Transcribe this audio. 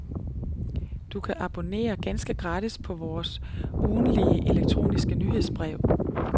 Du kan abonnere ganske gratis på vores ugentlige elektroniske nyhedsbrev.